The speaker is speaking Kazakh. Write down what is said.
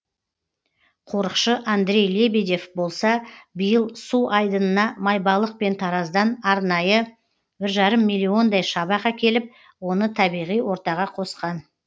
қорықшы андрей лебедев болса биыл су айдынына майбалық пен тараздан арнайы бір жарым миллиондай шабақ әкеліп оны табиғи ортаға қосқан